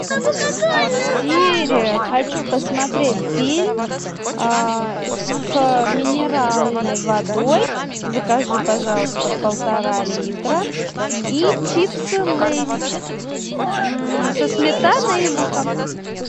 сири хочу посмотреть фильм с минеральной водой закажи пожалуйста полтора литра и чипсы лейс со сметаной и луком